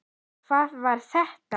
En hvað var þetta?